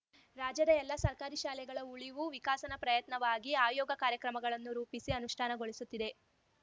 ರಾಜ್ಯದ ಎಲ್ಲ ಸರ್ಕಾರಿ ಶಾಲೆಗಳ ಉಳಿವು ವಿಕಾಸನ ಪ್ರಯತ್ನವಾಗಿ ಆಯೋಗ ಕಾರ್ಯಕ್ರಮಗಳನ್ನು ರೂಪಿಸಿ ಅನುಷ್ಠಾನಗೊಳಿಸುತ್ತಿದೆ